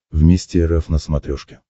вместе эр эф на смотрешке